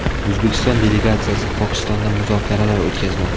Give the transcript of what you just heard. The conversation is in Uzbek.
O‘zbekiston delegatsiyasi Pokistonda muzokaralar o‘tkazmoqda.